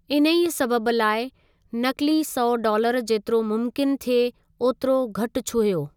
इन्ही सबबि लाइ, नक़ली सौ डॉलर जेतिरो मुमकिन थिए ओतिरो घटि छुहियो।